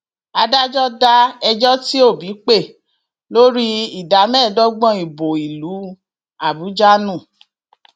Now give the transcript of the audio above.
adájọ da ẹjọ tí òbí pè lórí ìdá mẹẹẹdọgbọn ìbò ìlú àbújá nù